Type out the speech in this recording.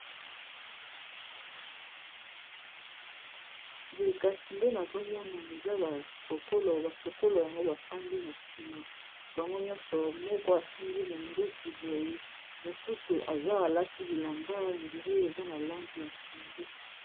Boye kasi nde nazomona eza basokolo, basokolo yango bafandi na nsima bango nyonso moko asimbi monduki boye mosusu aza alati bilamba dire eza na langi ya pondo.